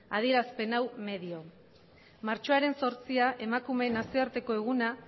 adierazpen hau medio martxoaren zortzia emakumeen nazioarteko eguna